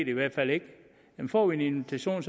i hvert fald ikke men får vi en invitation